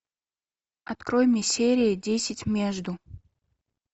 открой мне серии десять между